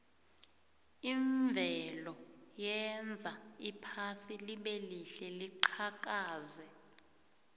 imvelo yenza iphasi libelihle liqhakaze